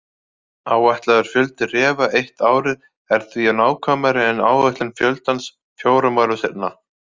Áætlaður fjöldi refa eitt árið er því nákvæmari en áætlun fjöldans fjórum árum seinna.